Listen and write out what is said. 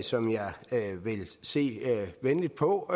som jeg vil se venligt på